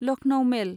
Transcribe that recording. Lucknow मेल